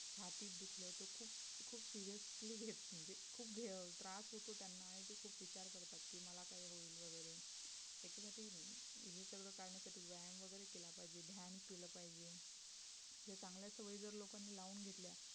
खुप्प seriously घेत म्हणजे खुप घे त्रास होतो त्यांना आणि ते खुप विचार करतात कि मला काय होईल वगैरे याच्यासाठी हे सगळ्या कारणासाठी व्यायाम वगैरे केला पाहिजे ध्यान केलं पाहिजे, जे चांगल्या सवयी जर लोकांनी लावून घेतल्या